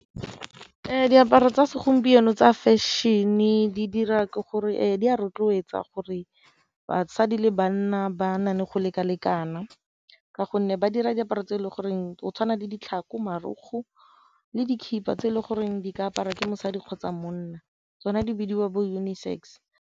Diaparo tsa segompieno tsa fashion-e di dira ke gore di a rotloetsa gore basadi le banna ba na le go leka-lekana ka gonne ba dira diaparo tse e le goreng go tshwana le ditlhako, marokgwe le dikhiba tse e le goreng di ka apara ke mosadi kgotsa monna tsona di bidiwa bo uni-sex.